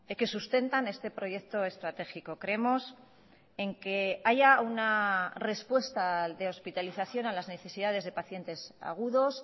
que sustentan este proyecto estratégico creemos en que haya una respuesta de hospitalización a las necesidades de pacientes agudos